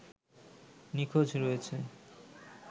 নিখোঁজ রয়েছে